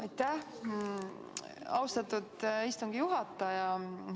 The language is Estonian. Aitäh, austatud istungi juhataja!